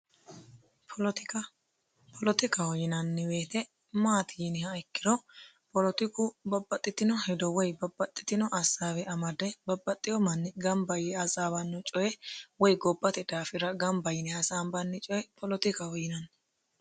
polotika polotikaho yinanni woyiite maati yiniha ikkiro polotiku babbaxitino hedo woye babbaxitino hasaabe amade babbaxi"o manni ganba yee coye woye gobbate daafira ganba yine hasanbanni coye poletikaho yinanni